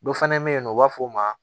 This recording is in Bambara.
Dɔ fana bɛ yen nɔ u b'a fɔ o ma